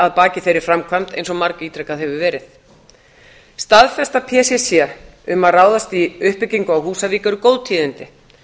að baki þeirri framkvæmd eins og bara ítrekað hefur verið staðfesta pcc um að ráðast í uppbyggingu á húsavík eru góð tíðindi